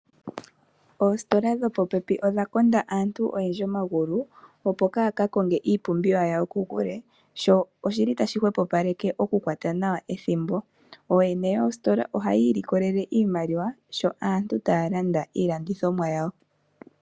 Oositola dhopopepi odha konda aantu oyendji omagulu opo kaya kakonge iipumbiwa yawo kokule sho okukala ethimbo iimaliwa sho aantu taya landa iilandithomwa yawo.